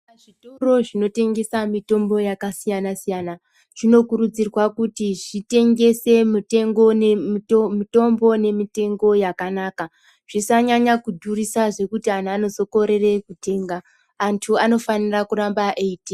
Zvitoro zvinotengesa mitombo yakasiyana siyana zvinokurudzirwa kuti zvitengesa mitombo nemitengo yakanaka zvisanyanya kudhurisa zvekuti antu anozokorere kutenga antu anofanirwa kuramba eyitenga.